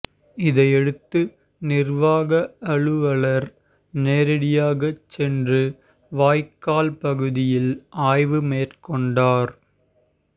இதையடுத்து நிர்வாக அலுவலர் நேரடியாகச் சென்று வாய்க்கால் பகுதியில் ஆய்வு மேற்கொண்டார்